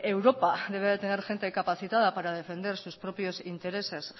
europa debe de tener gente capacitada para defender sus propios intereses